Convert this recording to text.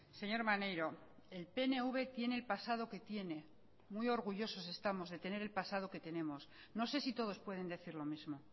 señor maneiro el pnv tiene el pasado que tiene muy orgullosos estamos de tener el pasado que tenemos no sé si todos pueden decir lo mismo